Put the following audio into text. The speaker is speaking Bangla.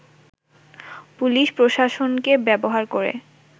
পুলিশ ও প্রশাসনকে ব্যবহার করে